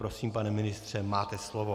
Prosím, pane ministře, máte slovo.